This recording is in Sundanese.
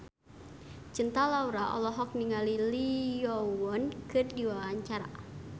Cinta Laura olohok ningali Lee Yo Won keur diwawancara